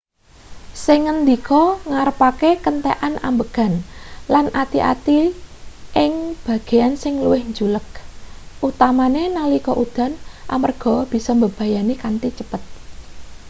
sing ngandika ngarepake kentekan ambegan lan ati-ati ing bagean sing luwih njuleg utamane nalika udan amarga bisa mbebayani kanthi cepet